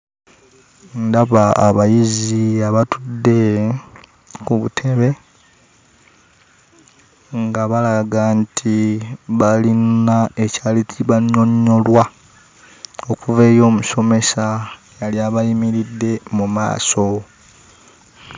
Ndaba abayizi abatudde ku butebe nga balaga nti balina ekyali tibannyonnyolwa okuva eri omusomesa eyali abayimiridde mu maaso.